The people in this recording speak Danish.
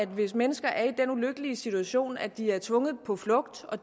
hvis mennesker er i den ulykkelige situation at de er tvunget på flugt og